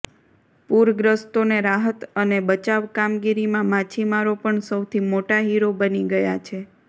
પૂરગ્રસ્તોને રાહત અને બચાવ કામગીરીમાં માછીમારો પણ સૌથી મોટા હીરો બની ગયા છે